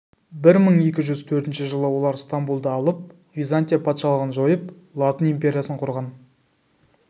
бір мың екі жүз төртінші жылы олар стамбулды алып византия патшалығын жойып латын империясын құрған